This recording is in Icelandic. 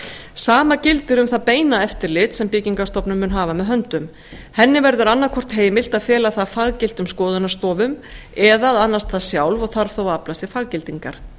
sama gildir um það beina eftirlit sem byggingarstofnun mun hafa með höndum henni verður annaðhvort heimilt að fela það faggiltum skoðunarstofum eða að annast það sjálf og þarf þá að afla sér faggildingar